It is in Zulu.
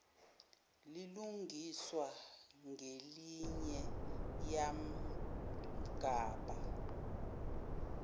lilungiswa ngelinye yamgabha